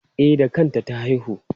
E, da kanta ta haihu.